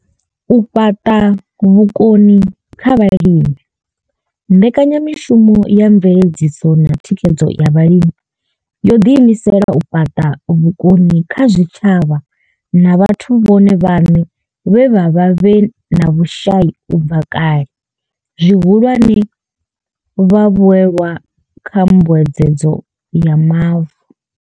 U fhaṱa vhukoni kha vhalimi mbekanya mishumo ya mveledziso na thikhedzo ya vhalimi yo ḓiimisela u fhaṱa vhukoni kha zwitshavha na vhathu vhone vhaṋe vhe vha vha vhe na vhushai u bva kale, zwihulwane, vhavhuelwa kha mbuedzedzo ya Mavu.